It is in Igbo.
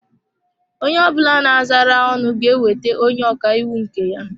Onye ọ bụla na-azara ọnụ ga-enweta onye ọka iwu nke ya.